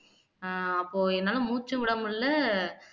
ஆஹ் அப்போ என்னால மூச்சு விட முடியலை